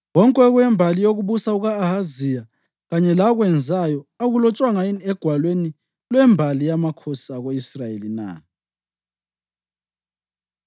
Konke okwembali yokubusa kuka-Ahaziya, kanye lakwenzayo, akulotshwanga yini egwalweni lwembali yamakhosi ako-Israyeli na?